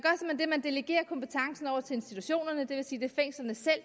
delegerer kompetencen over til institutionerne det vil sige